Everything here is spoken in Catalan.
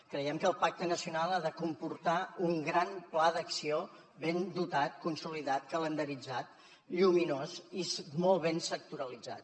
creiem que el pacte nacional ha de comportar un gran pla d’acció ben dotat consolidat calendaritzat lluminós i molt ben sectoritzat